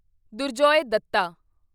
Durjoy Dutta